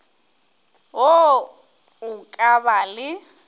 wo o ka ba le